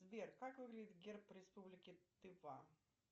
сбер как выглядит герб республики тыва